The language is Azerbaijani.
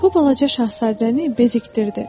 Bu balaca şahzadəni bezikdirdi.